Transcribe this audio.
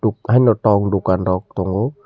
haino twk dukan rok tongo.